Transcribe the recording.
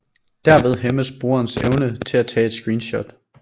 Derved hæmmes brugerens evne til at tage et screenshot